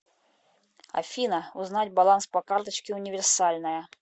афина узнать баланс по карточке универсальная